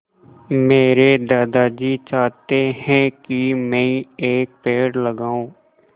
मेरे दादाजी चाहते हैँ की मै एक पेड़ लगाऊ